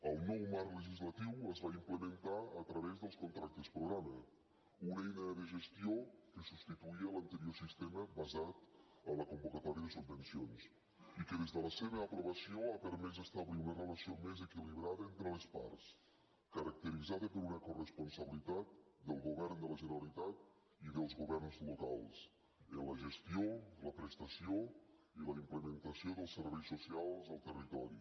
el nou marc legislatiu es va implementar a través dels contractes programa una eina de gestió que substituïa l’anterior sistema basat en la convocatòria de subvencions i que des de la seva aprovació ha permès establir una relació més equilibrada entre les parts caracteritzada per una coresponsabilitat del govern de la generalitat i dels governs locals en la gestió la prestació i la implementació dels serveis socials al territori